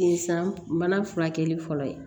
San bana furakɛli fɔlɔ ye